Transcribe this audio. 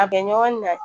A bɛ ɲɔgɔn na